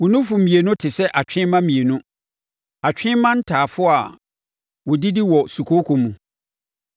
Wo nufu mmienu te sɛ atwe mma mmienu, atwe mma ntafoɔ a wɔdidi wɔ sukooko mu.